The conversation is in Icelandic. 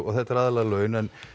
þetta eru aðallega laun